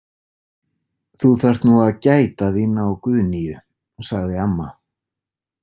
Þú þarft nú að gæta þín á Guðnýju, sagði amma.